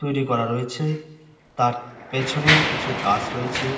তৈরি করা রয়েছে তার পেছনে কিছু গাছ রয়েছে।